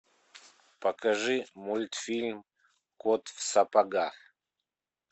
покажи мультфильм кот в сапогах